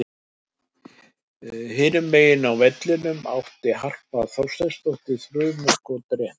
Hinum megin á vellinum átti Harpa Þorsteinsdóttir þrumuskot rétt framhjá.